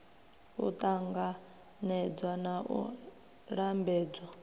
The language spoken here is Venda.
u ṱanganedzwa na u lambedzwa